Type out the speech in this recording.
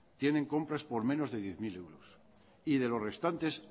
tiene compras por menos de diez mil euros y de los restantes